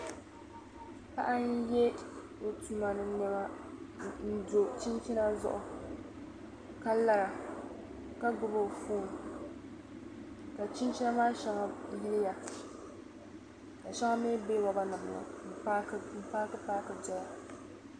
Paɣa ye o tuma ni nema n do chinchina zuɣu ka lara ka gbubi o phone ka chinchina maa shaŋa yiliya ka shaŋa mi be robber nim n paaki paaki doya.